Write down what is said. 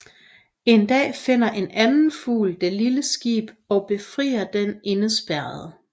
En dag finder en anden fugl det lille skib og befrier den indespærrede